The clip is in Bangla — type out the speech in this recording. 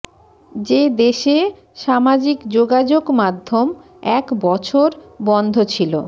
যে দেশে সামাজিক যোগাযোগ মাধ্যম এক বছর বন্ধ ছিল